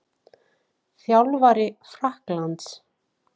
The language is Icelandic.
Þjálfari Frakklands?